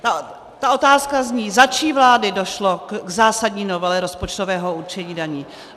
Ta otázka zní: za čí vlády došlo k zásadní novele rozpočtového určení daní?